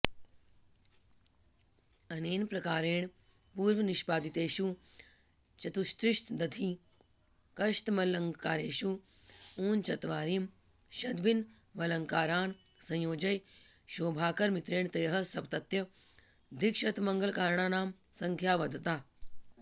अनेन प्रकारेण पूर्वनिष्पादितेषु चतुस्त्रिशदधिकशतमलङ्कारेषु ऊनचत्वारिंशदभिनवालङ्कारान् संयोज्य शोभाकरमित्रेण त्रयःसप्तत्यधिकशतमलङ्काराणां संख्या वधता